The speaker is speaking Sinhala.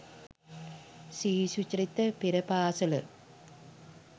ශ්‍රී සුචරිත පෙර පාසල